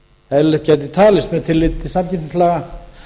eðlilegt gæti talist með tilliti til samkeppnislaga